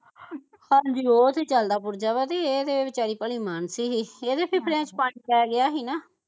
ਹਾਜੀ ਉਹ ਤੇ ਚਲਦਾ ਪੁਰਜੇ ਵਾ ਤੇ ਇਹ ਵਿਚਾਰੀ ਭਲੀ ਮਾਣਸ ਸੀ ਇਹ ਤੇ ਵਿਚ ਪਾਣੀ ਪੈ ਗਿਆ ਹੀ ਨਾ